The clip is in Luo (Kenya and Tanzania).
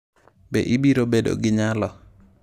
Be ibiro bedo gi nyalo?